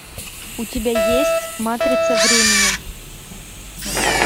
у тебя есть матрица времени